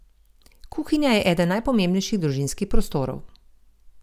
Kuhinja je eden najpomembnejših družinskih prostorov.